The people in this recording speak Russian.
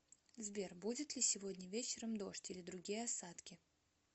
сбер будет ли сегодня вечером дождь или другие осадки